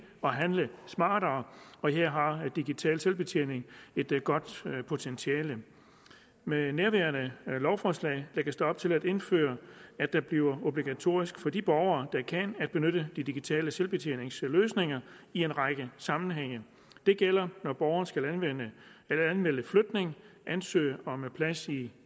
og handle smartere og her har digital selvbetjening et godt potentiale med nærværende lovforslag lægges der op til at indføre at det bliver obligatorisk for de borgere der kan at benytte de digitale selvbetjeningsløsninger i en række sammenhænge det gælder når borgeren skal anmelde flytning ansøge om plads i